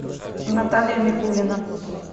наталья микулина